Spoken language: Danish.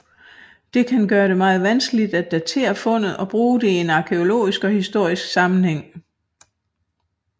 Det kan gøre det meget vanskeligt at datere fundet og bruge det i en arkæologisk og historisk sammenhæng